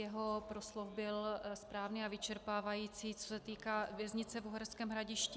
Jeho proslov byl správný a vyčerpávající, co se týká věznice v Uherském Hradišti.